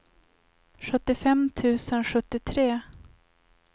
sjuttiofem tusen sjuttiotre